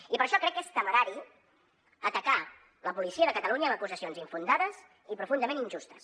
i per això crec que és temerari atacar la policia de catalunya amb acusacions infundades i profundament injustes